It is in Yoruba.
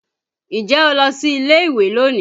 Ǹjẹ́ o lọ sí ilé ìwé lónìí?